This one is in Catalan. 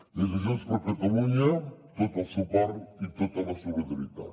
des de junts per catalunya tot el suport i tota la solidaritat